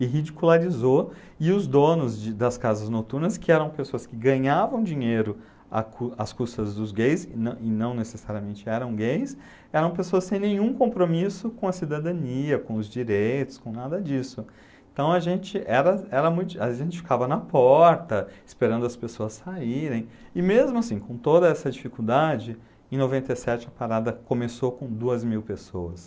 e ridicularizou e os donos de das casas noturnas que eram pessoas que ganhavam dinheiro a cus as custas dos gays e não não necessariamente eram gays eram pessoas sem nenhum compromisso com a cidadania com os direitos com nada disso então a gente era era muito a gente ficava na porta esperando as pessoas saírem e mesmo assim com toda essa dificuldade em noventa e sete a parada começou com duas mil pessoas